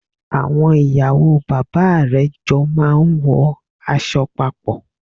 Àwon ìyàwó bàbá rè jo máa n wo aso papò